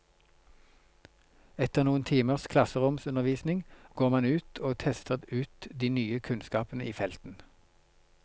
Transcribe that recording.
Etter noen timers klasseromsundervisning går man ut og tester ut de nye kunnskapene i felten.